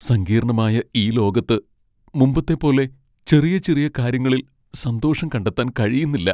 സങ്കീർണ്ണമായ ഈ ലോകത്ത് മുമ്പത്തെ പോലെ ചെറിയ ചെറിയ കാര്യങ്ങളിൽ സന്തോഷം കണ്ടെത്താൻ കഴിയുന്നില്ല.